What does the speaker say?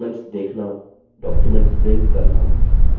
document print करना